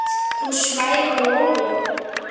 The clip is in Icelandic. Þú svæfa Lóló